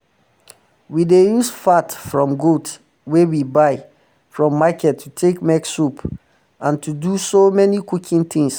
we dey use fat from goat wey we buy um from market to take make soap and to to do so many cooking tings